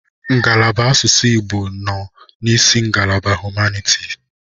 Ngalaba asụsụ Igbo nọ n'isi ngalaba humanitis.